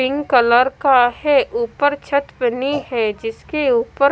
pink colour का है ऊपर छत बनी है जिसके ऊपर--